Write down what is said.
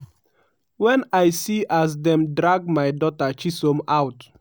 "wen i see as dem drag my daughter chisom out.